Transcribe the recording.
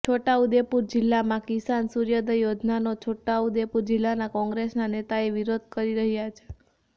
છોટાઉદેપુર જિલ્લામાં કિસાન સૂર્યોદય યોજનાનો છોટાઉદેપુર જિલ્લાના કોંગ્રેસના નેતાઓ વિરોધ કરી રહ્યા છે